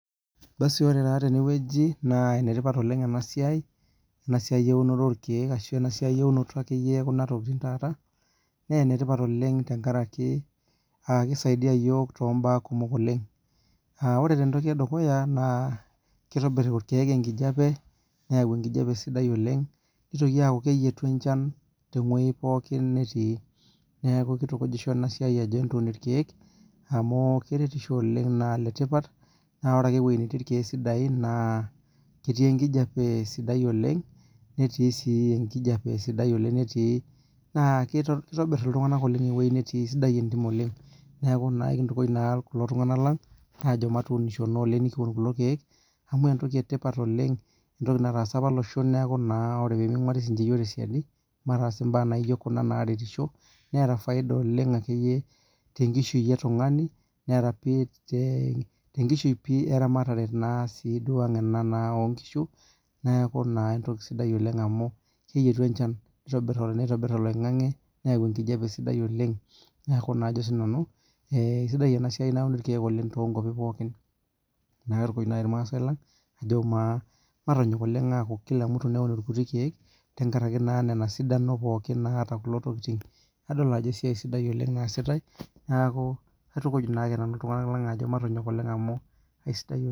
Basi ore taa tene wueji, naa enetipat oleng ena siai, ena siai eunoto orkeek ashu ena siai eunoto ekuna tokitin taata. naa enetipat amu kisaidia iyiook to baa kumok oleng. ore ene dukuya kitobir irkeek enkijiape. neyau enkijiape sapuk oleng. nitoki aaku keyietu enchan te wueji sapuk oleng. pooki. Netii. neeki kitukujisho ena siai ajo entuun irkeek. amu keretisho oleng naa ene tipat. naa ore ake ewueji netii irkeek sidain, naa ketii enkijiape sidai oleng. netio sii naa itobir iltunganak te wueji netii. naa ekipuo aitukuj kulo tunganak lang peeuni kulo keek, amu entoki etipat oleng. entoki nataasa apa loshon. neeku naa ore pee ming'uaari ninche yiook tesidai. mataas imbaa naijo Kuna naretisho neeta faida te nkishui oltungani we ramatare oo nkishu. neekh entoki sidai oleng amu kikiti enchan, kitobir oloingang'e. neyau enkijiape sidai oleng. amu ajo naa sii nanu kisidai ena siai nauni irkeek oleng pookin. najoki irmaasae lang matonyok oleng. amu Kila mutu neun irkutik keek. tenkaraki esidano naata Kuna tokitin. adol ajo esiai sidai oleng nasitae. neekua matonyok oleng amu kisidai oleng.